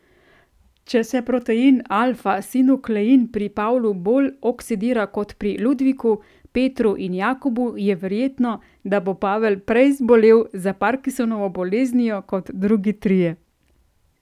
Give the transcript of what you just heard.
Če se protein alfa sinuklein pri Pavlu bolj oksidira kot pri Ludviku, Petru in Jakobu, je verjetno, da bo Pavel prej zbolel za parkinsonovo boleznijo kot drugi trije.